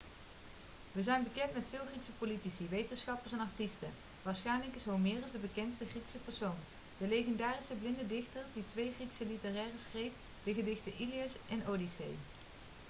we zijn bekend met veel griekse politici wetenschappers en artiesten waarschijnlijk is homerus de bekendste griekse persoon de legendarische blinde dichter die twee griekse literaire schreef de gedichten ilias en odyssee